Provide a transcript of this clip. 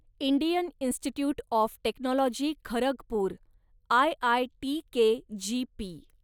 Indian institute of technology Kharagpur, IIT KGP